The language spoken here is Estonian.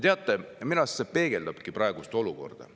Teate, minu arust see peegeldabki praegust olukorda.